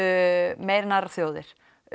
meir en aðrar þjóðir